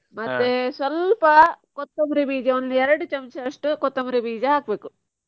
ಸ್ವಲ್ಪ ಕೊತ್ತಂಬರಿ ಬೀಜ ಒಂದು ಎರಡು ಚಮಚದಷ್ಟು ಕೊತ್ತಂಬರಿ ಬೀಜ ಹಾಕ್ಬೇಕು.